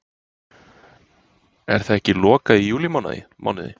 Er það ekki lokað í júlímánuði?